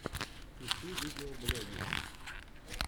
ищи видеоблоги